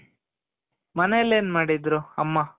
ಮನೇಲಿ ಏನ್ ಮಾಡಿದ್ರು ಅಮ್ಮ